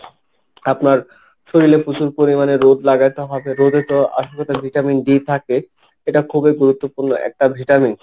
আপনার শরীলে প্রচুর পরিমাণে রোদ লাগাতে হবে, রোদে তো আসল কথা ভিটামিন ডি থাকে এটা খুবই গুরুত্বপূর্ণ একটা ভিটামিন।